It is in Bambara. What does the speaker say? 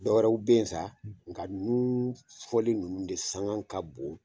Dɔwɛrɛw bɛ ye sa nga ninnu fɔli ninnu de sanŋa ka bon.